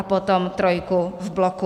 A potom trojku v bloku.